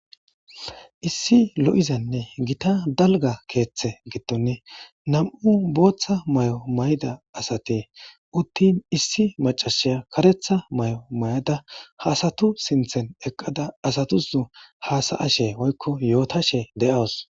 Issi lo'izenne gita dalga keeththe gittoni nam'u booththa may'o mayda asati uttin issi macashiya karetha may;o may'ada haasatu sinthen eqqada asatusnu haasa ashe woykko yootashe de'aws.